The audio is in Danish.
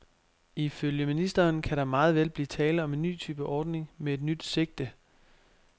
Ifølge ministeren kan der meget vel blive tale om en ny type ordning med et nyt sigte.